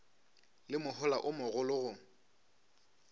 le mohola o mogolo go